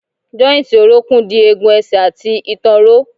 Jọ́ìntì orókún dì egun ẹsẹ̀ àti ìtàn ró.